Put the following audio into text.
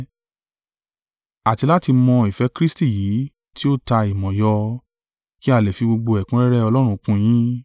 Àti láti mọ̀ ìfẹ́ Kristi yìí tí ó ta ìmọ̀ yọ, kí a lè fi gbogbo ẹ̀kúnrẹ́rẹ́ Ọlọ́run kún yín.